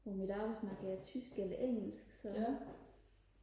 på mit arbejde snakker jeg tysk eller engelsk så